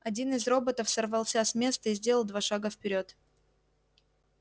один из роботов сорвался с места и сделал два шага вперёд